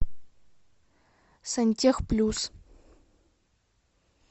сантехплюс